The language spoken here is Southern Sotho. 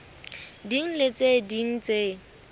ding le tse ding tse